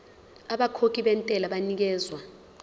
abakhokhi bentela banikezwa